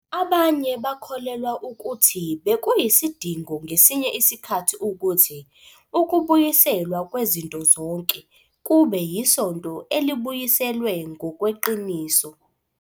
Abanye bakholelwa ukuthi bekuyisidingo ngesinye isikhathi ukuthi "ukubuyiselwa kwezinto zonke" kube yiSonto elibuyiselwe ngokweqiniso.